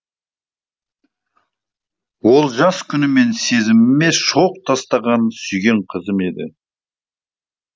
ол жас күнімнен сезіміме шоқ тастаған сүйген қызым еді